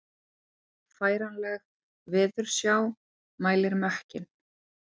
Færanleg veðursjá mælir mökkinn